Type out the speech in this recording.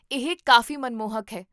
ਇਹ ਕਾਫ਼ੀ ਮਨਮੋਹਕ ਹੈ